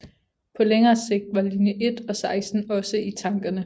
På længere sigt var linje 1 og 16 også i tankerne